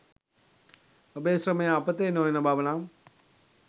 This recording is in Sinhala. ඔබේ ශ්‍රමය අපතේ නොයන බව නම්